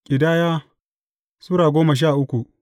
Ƙidaya Sura goma sha uku